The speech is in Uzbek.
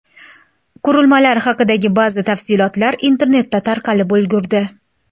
Qurilmalar haqidagi ba’zi tafsilotlar internetda tarqalib ulgurdi.